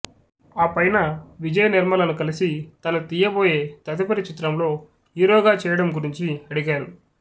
ఆపైన విజయనిర్మలను కలిసి తను తీయబోయే తదుపరి చిత్రంలో హీరోగా చేయడం గురించి అడిగారు